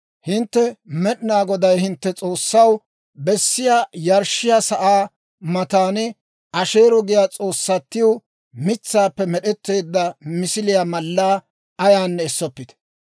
«Hintte Med'inaa Godaw, hintte S'oossaw, kees's'iyaa yarshshiyaa sa'aa matan Asheero giyaa s'oossatiw mitsaappe med'etteedda misiliyaa mallaa ayaanne essoppite.